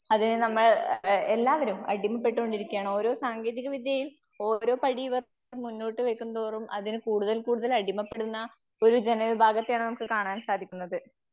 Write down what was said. അതേനമ്മൾ എ എ എല്ലാവരും അടിമപ്പെട്ടോണ്ടിരിക്കുകയാണ്. സാങ്കേതികവിദ്യയിൽ ഓരോ പടിഇവർ മുന്നോട്ട് വെക്കുംതോറും അതിൽ കൂടുതൽ കൂടുതൽ അടിമപ്പെടുന്ന ഒരു ജനവിഭാഗത്തെയാണ് നമുക്ക് കാണാൻ സാധിക്കുന്നത്.